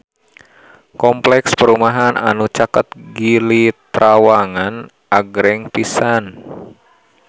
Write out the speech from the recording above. Kompleks perumahan anu caket Gili Trawangan agreng pisan